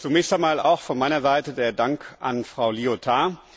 Zunächst einmal auch von meiner Seite der Dank an Frau Liotard.